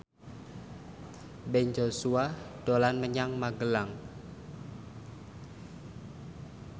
Ben Joshua dolan menyang Magelang